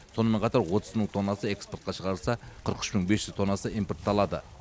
сонымен қатар отыз мың тоннасы экспортқа шығарылса қырық үш мың бес жүз тоннасы импортталады